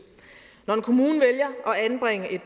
når en kommune vælger at anbringe et